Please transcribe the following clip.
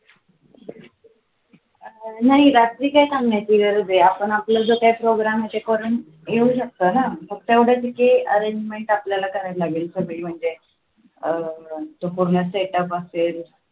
नाही रात्री काही काम नाही आपण आपला जो काही program आहे तो करून येऊ शकतो ना फक्त एवढचं कि arrangement आपल्याला करावे लागेल सगळी म्हणजे अं तो पूर्ण set up असेल